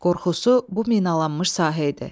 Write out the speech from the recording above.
Qorxusu bu minalanmış sahə idi.